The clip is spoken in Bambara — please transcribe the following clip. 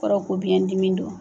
O kɔrɔ ko biyɛn dimi do.